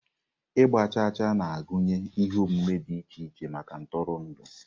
Ịgba chaa chaa na-agụnye ihe omume dị iche iche maka ntụrụndụ.